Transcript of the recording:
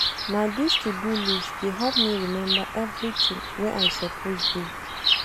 Na dis to-do list dey help me remember everytin wey I suppose do.